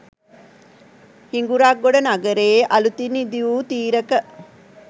හිඟුරක්ගොඩ නගරයේ අලූතින් ඉදි වූ තීරක